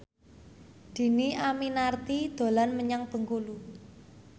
Dhini Aminarti dolan menyang Bengkulu